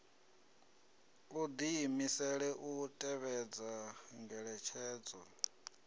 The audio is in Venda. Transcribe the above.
u diimisela u tevhedza ngeletshedzo